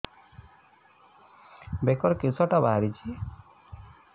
ବେକରେ କିଶଟା ବାହାରିଛି